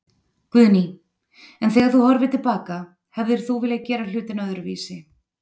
Guðný: En þegar þú horfir til baka, hefðir þú viljað gera hlutina öðruvísi?